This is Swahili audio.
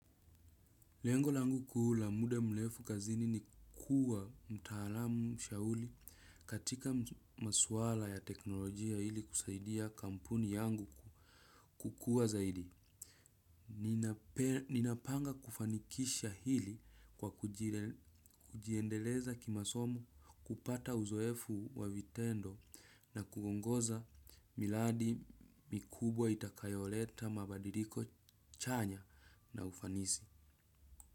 Lengo langu kuu la muda mrefu kazini ni kuwa mtaalamu shauri katika maswala ya teknolojia ili kusaidia kampuni yangu kukuwa zaidi. Ninapanga kufanikisha hili kwa kujiendeleza kimasomo kupata uzoefu wa vitendo na kuongoza miradi mikubwa itakayoleta mabadiliko chanya na ufanisi.